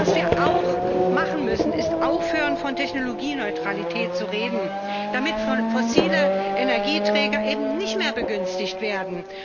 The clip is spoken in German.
Was wir auch machen müssen, ist, aufhören, von Technologieneutralität zu reden, damit fossile Energieträger eben nicht mehr begünstigt werden.